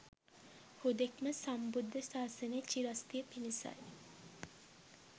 හුදෙක්ම සම්බුද්ධ සාසනයේ චිරස්ථිතිය පිණිසයි.